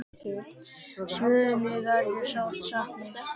Svönu verður sárt saknað.